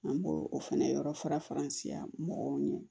An b'o o fɛnɛ yɔrɔ fara faransiya mɔgɔw ɲɛ